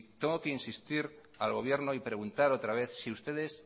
tengo que insistir al gobierno y preguntar otra vez si ustedes